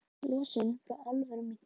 Losun frá álverum minnkar